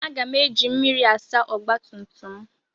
Aga m eji mmiri asa ọgba tum tum m.